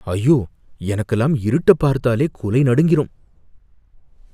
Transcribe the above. ஐயோ! எனக்குலாம் இருட்ட பார்த்தாலே குலை நடுங்கிரும்.